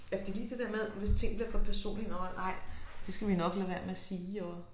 Ja for det lige det der med hvis ting bliver for personlige nåh nej det skal vi nok lade være med at sige og